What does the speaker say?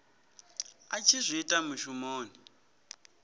a tshi zwi ita mushumoni